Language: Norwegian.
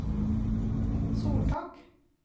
soltak